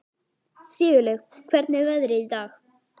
Sigurlaug, hvernig er veðrið í dag?